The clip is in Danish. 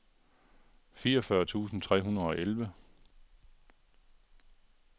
fireogfyrre tusind tre hundrede og elleve